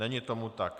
Není tomu tak.